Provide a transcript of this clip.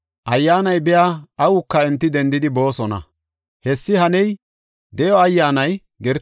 Ayyaanay biya awuka enti dendidi boosona. Hessi haney, de7o Ayyaanay gertota giddon de7iya gishosa.